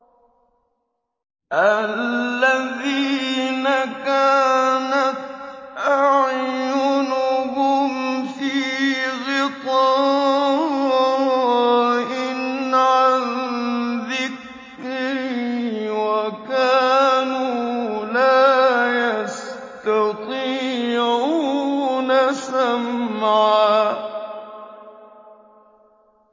الَّذِينَ كَانَتْ أَعْيُنُهُمْ فِي غِطَاءٍ عَن ذِكْرِي وَكَانُوا لَا يَسْتَطِيعُونَ سَمْعًا